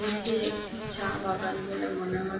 এটি একটি চা বাগান বলে মনে হয়।